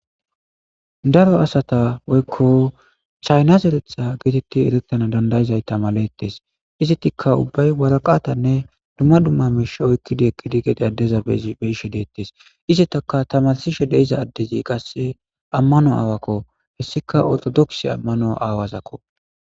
Daro asata woykko chayna zereththa geetettidi eretana danda'izayta maletes. Izetikka ubbay waraqatanne dumma dumma miishsha oyqqidi eqqidi gede aadhdhidi addeza be'ishe deettes. Izetakka tamarssishe de'izayssazi addezi ammano aawakko hessika ortodokise ammano aawazako.